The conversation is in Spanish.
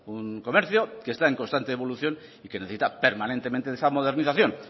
un comercio que está en constante evolución y que necesita permanentemente de esa modernización